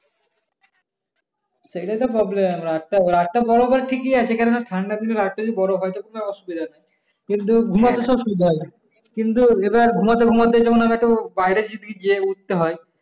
সেইটাই তো problem রাতটা বড় ঠিকই আছে কারণ ঠান্ডা কিছু লাগতেছে অসুবিধা নাই কিন্তু কিন্তু এবার ঘুমাতে ঘুমাতে যখন আমি একটু বাইরে যদি যেয়ে উঠতে হয়।